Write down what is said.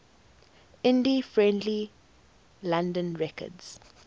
indie friendly london records